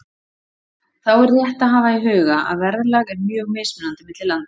Þá er rétt að hafa í huga að verðlag er mjög mismunandi milli landa.